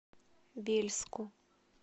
вельску